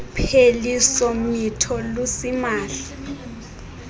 upheliso mitho lusimahla